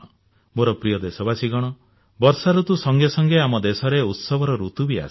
ମୋର ପ୍ରିୟ ଦେଶବାସୀଗଣ ବର୍ଷା ଋତୁ ସଙ୍ଗେ ସଙ୍ଗେ ଆମ ଦେଶରେ ଉତ୍ସବର ଋତୁ ବି ଆସେ